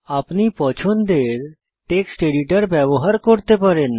আপনি পছন্দের text editor ব্যবহার করতে পারেন